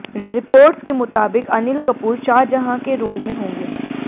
reports के मुताबिक अनिल कपूर शाहजहां के रोल में होंगे